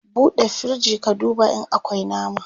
ɓuɗe firij ka duba in akwi nama!